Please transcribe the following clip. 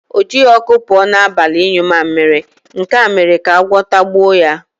O jighị ọkụ pụọ n'abalị ịnyụ mamịrị, nke a mere ka agwọ tagbuo ya.